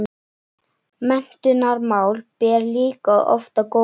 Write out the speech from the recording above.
Menntunarmál ber líka oft á góma.